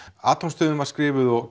atómstöðin var skrifuð og